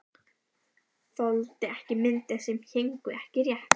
Þoldi ekki myndir sem héngu ekki rétt.